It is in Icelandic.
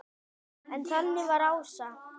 En þannig var Ása.